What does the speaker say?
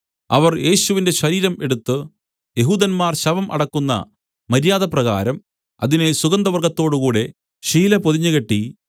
അവർ യേശുവിന്റെ ശരീരം എടുത്തു യെഹൂദന്മാർ ശവം അടക്കുന്ന മര്യാദപ്രകാരം അതിനെ സുഗന്ധവർഗ്ഗത്തോടുകൂടെ ശീലപൊതിഞ്ഞു കെട്ടി